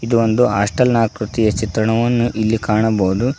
ಇದು ಒಂದು ಹಾಸ್ಟೆಲ್ ನಾಕೃತಿಯ ಚಿತ್ರಣವನ್ನು ಇಲ್ಲಿ ಕಾಣಬಹುದು.